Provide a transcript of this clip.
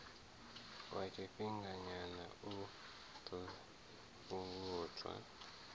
wa tshifhinganyana u ḓo fhungudza